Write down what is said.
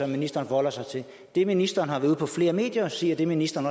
ministeren forholder sig til det ministeren har været ude på flere medier at sige og det ministeren